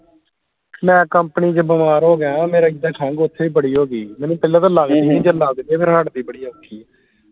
ਮੈਂ company ਚ ਬਿਮਾਰ ਹੋ ਗਿਆ ਮੇਰੇ ਇਦਾ ਖੰਗ ਓਥੇ ਬੜੀ ਹੋ ਗਈ ਮੈਨੂੰ ਪਹਿਲਾ ਤੇ ਲਗਦੀ ਨੀ ਜੇ ਲਗ ਜਾਵੇ ਫਿਰ ਹਟਦੀ ਬੜੀ ਔਖੀ